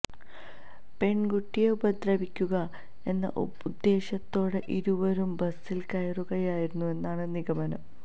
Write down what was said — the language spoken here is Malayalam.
പെണ്കുട്ടിയെ ഉപദ്രവിക്കുക എന്ന ഉദ്ദേശ്യത്തോടെ ഇരുവരും ബസില് കയറുകയായിരുന്നു എന്നാണ് നിഗമനം